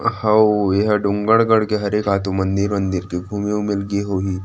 ओ एहा डोगरगढ़ के हरे का ते मंदिर-वंदिर घूमे गे होही।